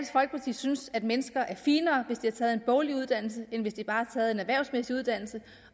synes at mennesker er finere hvis de har taget en boglig uddannelse end hvis de bare har taget en erhvervsmæssig uddannelse